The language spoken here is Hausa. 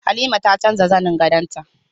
Halima ta canza zanin gadon ta